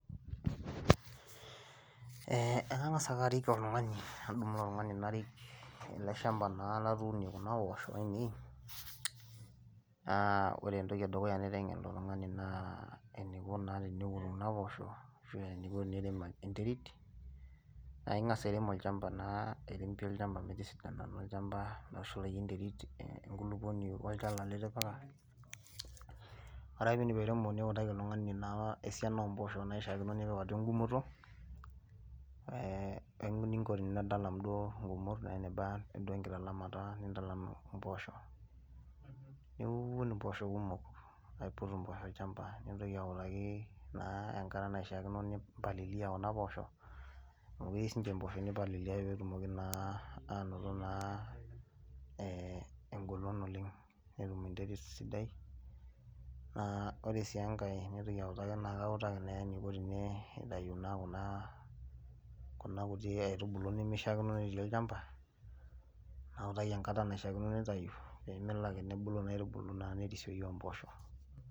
Eeh ekangas ake arik ele tungani nadumu ele tungani narik ele shampa latuunie kuna poosho ainei , naa wore entoki edukuya naitengen ilotungani naa eniko naa teneun kuna poosho ashu eniko tenirem enterit naa ingas airemu olchampa airem pii olchampa metisidana olchampa metushulayu enterit olchala litipika. Wore ake piidip airemo niutaki oltungani esiana oombosho naishakino tenepik atua engumoto , eeh eningo tenitalam duo ngumot weneba duo enkitalamata tilam duo mpoosho , niun mpoosho kumok ,aiput mpoosho olchampa ,nintoki autaku naa enkata naishakino nimpalilia kuna poosho , amu keyeu siininye mpoosho nimpalilia peetumoki naa anoto engolon oleng netum enterit sidai naa wore sii engai naitoki autaki, kautaki naa eniko tinitayu naa kuna kuti aitubulu nabulu nimishaakino netii olchampa nawutaki enkata naisha kino nitayu peemelo ake nebulu kuna aitubulu nebulu nerisoyu mpoosho.